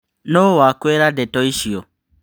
Nũ wakwĩra ndeto icio.